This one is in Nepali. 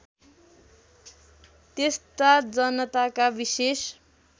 त्यस्ता जनताका विेशेष